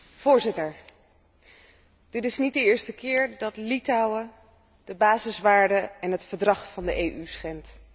Voorzitter, dit is niet de eerste keer dat Litouwen de basiswaarden en het Verdrag van de EU schendt.